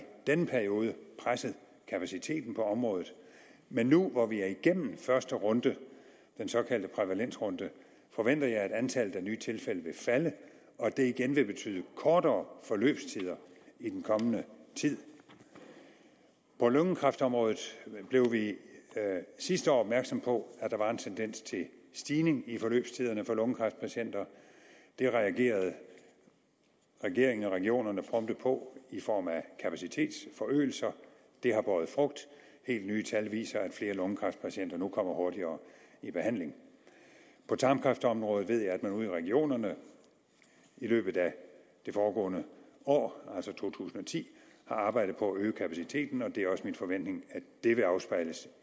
denne periode presset kapaciteten på området men nu hvor vi er igennem første runde den såkaldte prævalensrunde forventer jeg at antallet af nye tilfælde vil falde og at det igen vil betyde kortere forløbstider i den kommende tid på lungekræftområdet blev vi sidste år opmærksomme på at der var en tendens til stigning i forløbstiderne for lungekræftpatienter det reagerede regeringen og regionerne prompte på i form af kapacitetsforøgelser det har båret frugt helt nye tal viser at flere lungekræftpatienter nu kommer hurtigere i behandling på tarmkræftområdet ved jeg at man ude i regionerne i løbet af det foregående år altså to tusind og ti har arbejdet på at øge kapaciteten og det er også min forventning at dette afspejles